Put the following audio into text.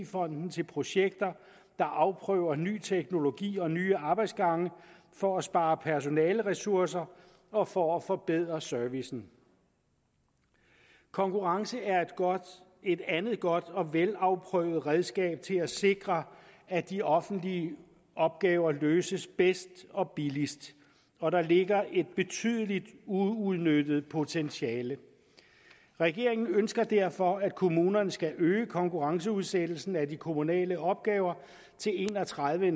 fonden til projekter der afprøver nye teknologier og nye arbejdsgange for at spare personaleressourcer og for at forbedre servicen konkurrence er et andet godt og velafprøvet redskab til at sikre at de offentlige opgaver løses bedst og billigst og der ligger et betydeligt uudnyttet potentiale regeringen ønsker derfor at kommunerne skal øge konkurrenceudsættelsen af de kommunale opgaver til en og tredive